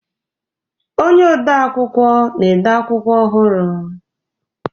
Onye ode akwụkwọ na-ede akwụkwọ ọhụrụ.